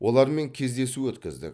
олармен кездесу өткіздік